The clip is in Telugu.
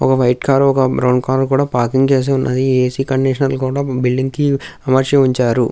ఒక వైట్ కార్ ఒక బ్రౌన్ కార్ కూడా పార్కింగ్ చేసి ఉన్నది. ఏ_సి కండిషన్ లు కూడా బిల్డింగ్ కి అమర్చి ఉంచారు.